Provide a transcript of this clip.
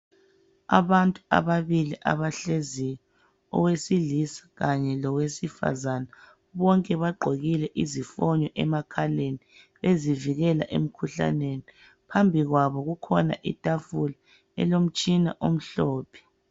Abantu ababili abahleziyo owesilisa kanye lowesifazane. Bonke bagqokile izifonyo emakhaleni ezivikela emkhuhlaneni, phambi kwabo kukhona itafula elomtshina omhlophe.